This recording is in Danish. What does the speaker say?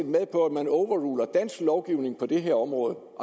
med på at man overruler dansk lovgivning på det her område